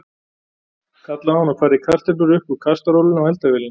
kallaði hún og færði kartöflur upp úr kastarolunni á eldavélinni.